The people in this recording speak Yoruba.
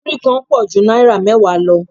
Múrí kan pọ̀ ju náírà mẹ́wàá lọ